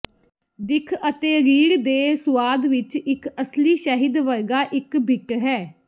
ਦਿੱਖ ਅਤੇ ਰੀੜ ਦੇ ਸੁਆਦ ਵਿਚ ਇੱਕ ਅਸਲੀ ਸ਼ਹਿਦ ਵਰਗਾ ਇੱਕ ਬਿੱਟ ਹੈ